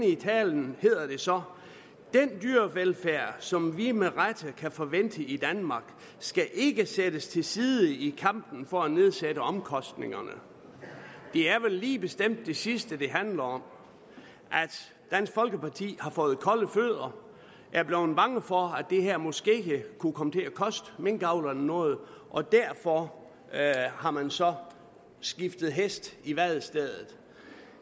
i talen hedder det så den dyrevelfærd som vi med rette kan forvente i danmark skal ikke sættes til side i kampen for at nedsætte omkostningerne det er vel lige bestemt det sidste det handler om dansk folkeparti har fået kolde fødder og er blevet bange for at det her måske kunne komme til at koste minkavlerne noget og derfor har man så skiftet hest i vadestedet